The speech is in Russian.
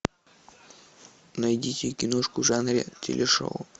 найдите киношку в жанре телешоу